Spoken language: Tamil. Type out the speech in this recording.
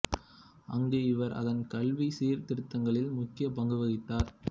அங்கு இவர் அதன் கல்வி சீர்திருத்தங்களில் முக்கிய பங்கு வகித்தார்